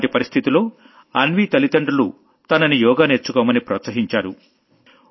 అలాంటి పరిస్థితిలో అన్వీ తల్లిదండ్రులు తనని యోగా నేర్చుకోమని ప్రోత్సహించారు